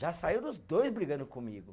Já saíram os dois brigando comigo.